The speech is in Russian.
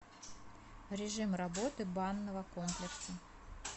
режим работы банного комплекса